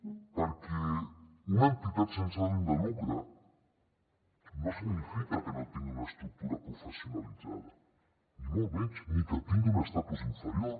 perquè una entitat sense ànim de lucre no significa que no tingui una estructura professionalitzada ni molt menys ni que tingui un estatus inferior